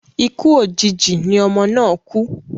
Ikú òjijì ni ọmọ náà kú